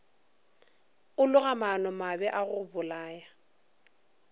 a loga maanomabe a gobolaya